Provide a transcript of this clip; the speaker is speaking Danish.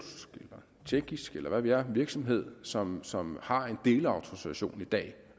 eller tjekkisk eller hvad ved jeg virksomhed som som har en delautorisation i dag